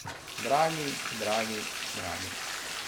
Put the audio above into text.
Dragi, dragi, dragi.